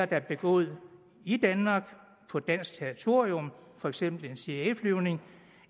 der er begået i danmark og på dansk territorium for eksempel en cia flyvning